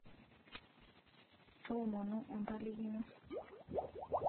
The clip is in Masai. toomonu empalikino